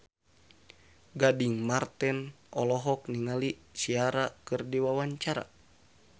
Gading Marten olohok ningali Ciara keur diwawancara